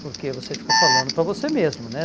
Porque você fica falando para você mesmo, né?